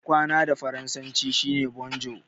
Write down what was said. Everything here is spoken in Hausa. Ina kwana da Faransa shi ne "bonjour".